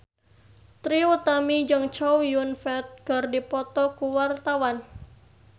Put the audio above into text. Trie Utami jeung Chow Yun Fat keur dipoto ku wartawan